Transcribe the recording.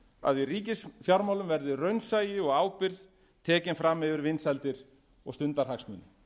að í ríkisfjármálum verði raunsæi og ábyrgð tekin fram yfir vinsældir og stundarhagsmuni